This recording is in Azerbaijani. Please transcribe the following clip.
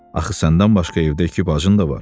Axı səndən başqa evdə iki bacın da var.